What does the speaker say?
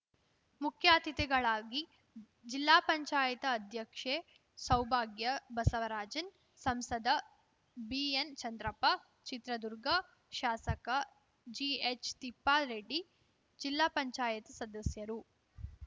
ಮುಖ್ಯ ಅತಿಥಿಗಳಾಗಿ ಜಿಲ್ಲಾ ಪಂಚಾಯತ್ ಅಧ್ಯಕ್ಷೆ ಸೌಭಾಗ್ಯ ಬಸವರಾಜನ್‌ ಸಂಸದ ಬಿಎನ್‌ ಚಂದ್ರಪ್ಪ ಚಿತ್ರದುರ್ಗ ಶಾಸಕ ಜಿಎಚ್‌ ತಿಪ್ಪಾರೆಡ್ಡಿ ಜಿಲ್ಲಾ ಪಂಚಾಯತ್ ಸದಸ್ಯರು